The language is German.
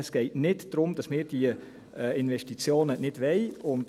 Es geht nicht darum, dass wir diese Investitionen nicht wollen.